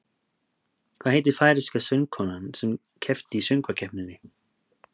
Hvað heitir færeyska söngkonan sem keppti í Söngvakeppninni?